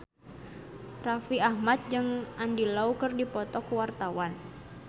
Raffi Ahmad jeung Andy Lau keur dipoto ku wartawan